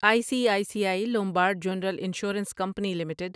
I C I C I Lombard general insurance company limited